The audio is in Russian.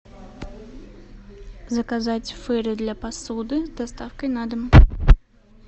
заказать фэри для посуды с доставкой на дом